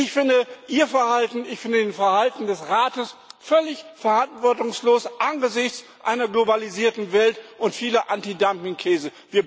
Ich finde Ihr Verhalten, ich finde das Verhalten des Rates völlig verantwortungslos angesichts einer globalisierten Welt und vieler Antidumping Krisen.